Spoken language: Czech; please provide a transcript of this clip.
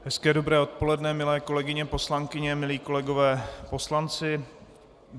Hezké dobré odpoledne, milé kolegyně poslankyně, milí kolegové poslanci.